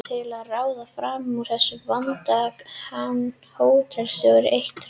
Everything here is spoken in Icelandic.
Til að ráða fram úr þessum vanda kann hótelstjórinn eitt ráð.